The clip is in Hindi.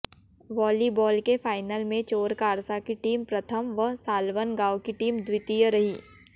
वालीबाल के फाईनल में चोरकारसा की टीम प्रथम व सालवन गांव की टीम द्वितीय रही